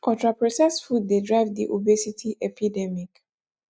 ultraprocessed food dey drive di obesity epidemic